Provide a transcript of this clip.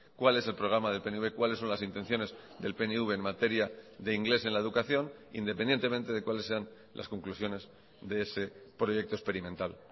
cuál es el programa del pnv cuáles son las intenciones del pnv en materia de inglés en la educación independientemente de cuáles sean las conclusiones de ese proyecto experimental